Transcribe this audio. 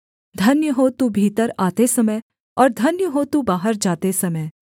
धन्य हो तू भीतर आते समय और धन्य हो तू बाहर जाते समय